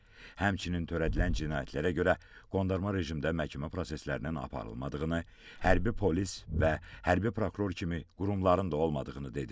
Həmçinin törədilən cinayətlərə görə qondarma rejimdə məhkəmə proseslərinin aparılmadığını, hərbi polis və hərbi prokuror kimi qurumların da olmadığını dedi.